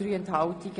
Ja Nein Enthalten